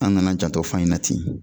An nana jantɔ fan in na ten